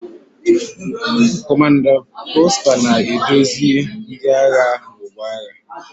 Kọmanda Prosper na-eduzi ndị agha n'ọgbọ agha.